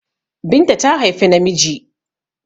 Binta ta haifi namiji